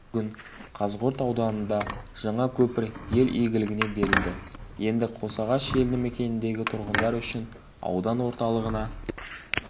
бүгін қазығұрт ауданында жаңа көпір ел игілігіне берілді енді қосағаш елді мекеніндегі тұрғындар үшін аудан орталығына